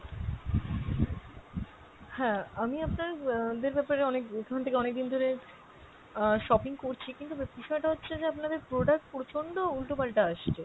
হ্যাঁ, আমি আপনার উম দের ব্যাপারে অনেক অনেকদিন ধরে অ্যাঁ shopping করছি, কিন্তু বিষয়টা হচ্ছে যে আপনাদের product প্রচণ্ড উল্টোপাল্টা আসছে।